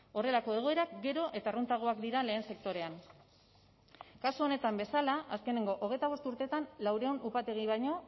horrelako egoerak gero eta arruntagoak dira lehen sektorean kasu honetan bezala azkenengo hogeita bost urteetan laurehun upategi baino